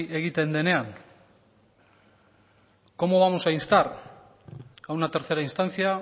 egiten denean cómo vamos a instar a una tercera instancia